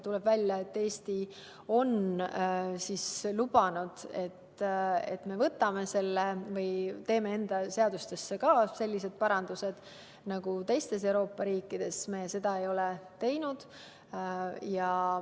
Tuleb välja, et Eesti on lubanud, et me teeme ka enda seadustesse sellised parandused nagu teistes Euroopa riikides, aga seda ei ole tehtud.